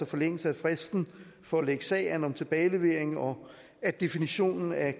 forlængelse af fristen for at lægge sag an om tilbagelevering og at definitionen af